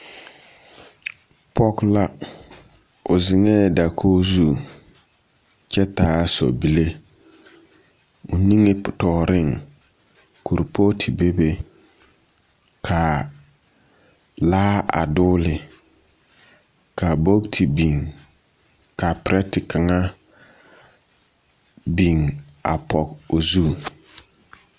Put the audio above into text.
Pͻge la, o zeŋԑԑ dakogi zu kyԑ taa sͻbile, o niŋetͻͻreŋ kuripootu bebe kaa laa a dͻgele ka bogiti biŋ, ka perԑte kaŋa a biŋ a dͻgele o zu.